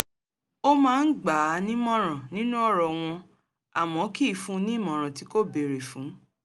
ó máa ń gbà á ní ìmọ̀ràn nínú ọ̀rọ̀ wọn àmọ́ kì í fún ní ìmọ̀ràn tí kò béèrè fún